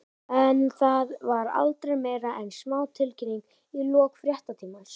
En það var aldrei meira en smá tilkynning í lok fréttatímans.